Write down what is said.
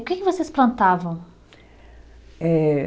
O que que vocês plantavam? Eh